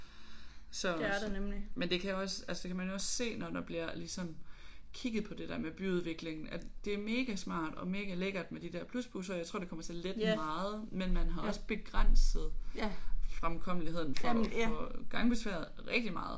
Så men det kan jo også altså det kan man jo også se når der bliver ligesom kigget på det der med byudviklingen at det er mega smart og mega lækkert med de der plusbusser og jeg tror det kommer til at lette det meget men man har også begrænset fremkommeligheden for for gangbesværede rigtig meget